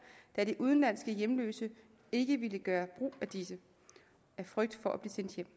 da de udenlandske hjemløse ikke vil gøre brug af dette af frygt for at blive sendt hjem